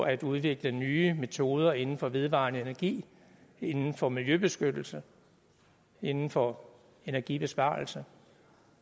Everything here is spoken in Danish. at udvikle nye metoder inden for vedvarende energi inden for miljøbeskyttelse inden for energibesparelse